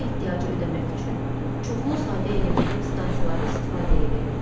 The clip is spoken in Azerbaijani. Bu ehtiyacı ödəmək üçün çoxlu sayda elektrik stansiyaları istifadəyə verilir.